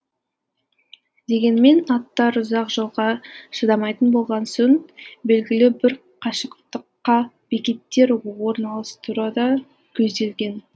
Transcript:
дегенмен аттар ұзақ жолға шыдамайтын болған соң белгілі бір қашықтыққа бекеттер орналастыру да көзделген